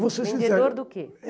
vou ser sincero. Vendedor do quê?